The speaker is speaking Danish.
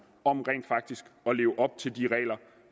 om rent faktisk at leve op til de regler